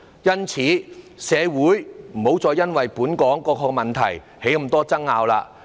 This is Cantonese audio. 因此，社會不要再因為本港各種問題而出現眾多爭拗。